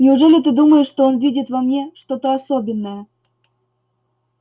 неужели ты думаешь что он видит во мне что-то особенное